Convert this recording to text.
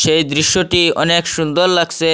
সেই দৃশ্যটি অনেক সুন্দর লাগসে।